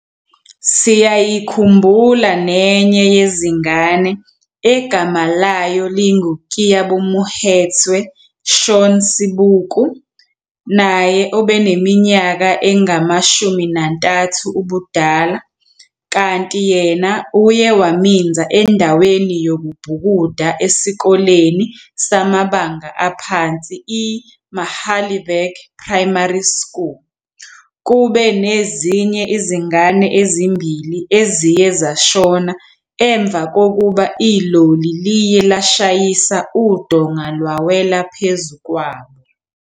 Siyayikhumbula nenye yezingane egama layo lingu-Keabomohetswe Shaun Seboko, naye obeneminyaka eyi-13 ubudala, kanti yena uye waminza endaweni yokubhukuda esikoleni samabanga aphansi i-Magalieburg Primary School kube kunezinye izingane ezimbili eziye zashona emva kokuba iloli liye lashayisa udonga lwawela phezu kwabo.